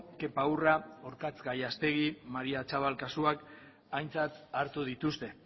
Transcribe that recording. kepa urra orkatz gallastegi maría atxabal kasuak aintzat hartu dituzte